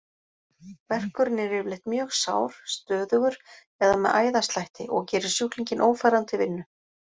Verkurinn er yfirleitt mjög sár, stöðugur eða með æðaslætti, og gerir sjúklinginn ófæran til vinnu.